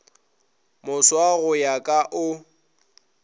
moswa go ya ka o